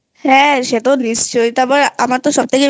হ্যাঁ তো নিশ্চই তারপর আমার সবথেকে